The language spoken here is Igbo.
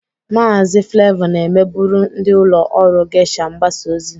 Maazị Flevọ na-emebụrụ ndị ụlọ ọrụ Geisha mgbasa ozi.